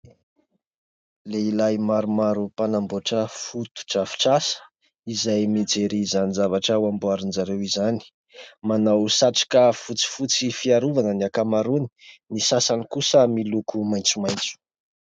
Lehilahy maromaro mpanamboatra fotodrafitrasa izay mijery izany zavatra ho amboarin'izareo izany. Manao satroka fotsifotsy fiarovana ny ankamaroany, ny sasany kosa miloko maitsomaitso.